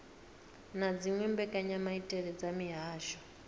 na dziwe mbekanyamaitele dza mihasho